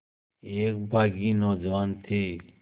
एक बाग़ी नौजवान थे